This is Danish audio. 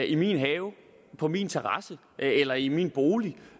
i min have på min terrasse eller i min bolig